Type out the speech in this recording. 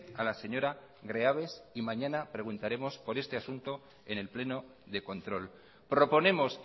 a la señora greaves y mañana preguntaremos por este asunto en el pleno de control proponemos